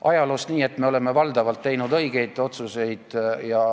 Ajaloost niipalju, et me oleme valdavalt teinud õigeid otsuseid.